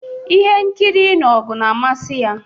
Ihe nkiri ịnụ ọgụ na-amasị ya.